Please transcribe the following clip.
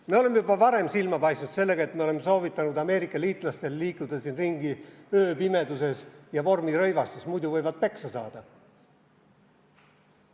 Me oleme juba varem silma paistnud sellega, et oleme soovitanud Ameerika liitlastel liikuda siin ringi ööpimeduses ja vormirõivastuses, muidu võivad peksa saada.